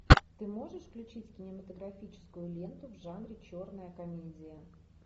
ты можешь включить кинематографическую ленту в жанре черная комедия